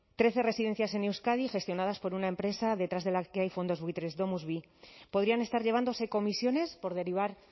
trece residencias en euskadi gestionadas por una empresa detrás de la que hay fondos buitres domus vi podrían estar llevándose comisiones por derivar